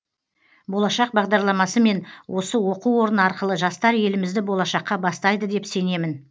болашақ бағдарламасы мен осы оқу орны арқылы жастар елімізді болашаққа бастайды деп сенемін